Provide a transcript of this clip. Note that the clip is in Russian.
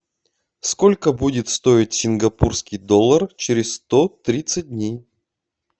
сколько будет стоить сингапурский доллар через сто тридцать дней